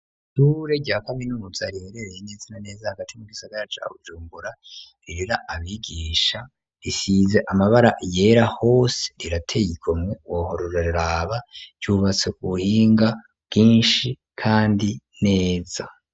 Ishure rya kaminuza riherereye neza na neza hagati mu gisagara ca Bujumbura rirera abigisha risize amabara yera hose rirateye igomwe wahora uraraba cubatse ku buhinga bwishi kandi neza.